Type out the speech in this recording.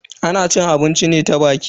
Ana cin abinci ne ta baki.